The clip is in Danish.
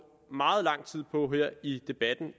meget lang tid på i debatten